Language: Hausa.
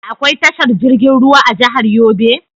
Da akwai tashar jirgin ruwa a jahar Yobe?